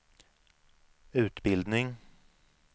utbildning